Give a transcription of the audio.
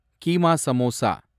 keema samosa